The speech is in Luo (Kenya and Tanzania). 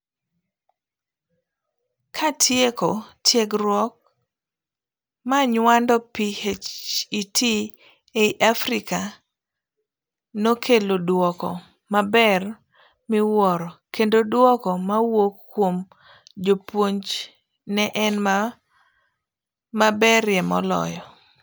Katieko, tiegruok monyuando PhET ei Africa nokelo duoko maber miwuoro kendo duoko mowuok kuom jopuonj ne en maberie moloyo.